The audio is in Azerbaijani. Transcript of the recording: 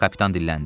kapitan dilləndi.